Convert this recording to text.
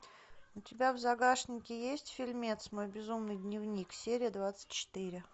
у тебя в загашнике есть фильмец мой безумный дневник серия двадцать четыре